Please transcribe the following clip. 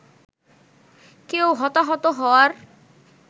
কেউ হতাহত হওয়ার